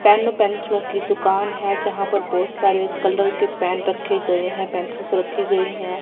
Pen और पेंसिलो की दुकान है जहां पर बहोत सारे कलर के पेन रखे गए हैं पेंसिलस रखी गई है।